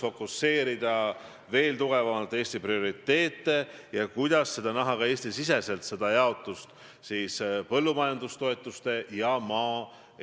Viis erakonda seisavad selle eest, et viia ellu oma poliitilisi põhimõtteid, aga ma loodan, et eeskätt seistakse selle eest, et nii tugevdada meie riiki ja maad.